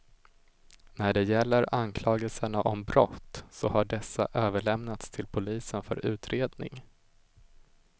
När det gäller anklagelserna om brott så har dessa överlämnats till polisen för utredning.